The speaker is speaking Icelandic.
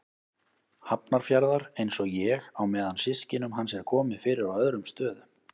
Hafnarfjarðar, einsog ég, á meðan systkinum hans er komið fyrir á öðrum stöðum.